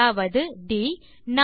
அதாவது ட்